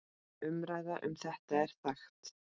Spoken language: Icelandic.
Umræða um þetta er þekkt.